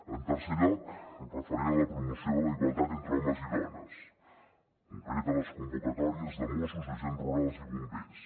en tercer lloc referent a la promoció de la igualtat entre homes i dones en concret a les convocatòries de mossos agents rurals i bombers